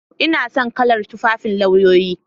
Ina son kalar tufafin lauyoyi.